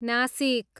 Nashik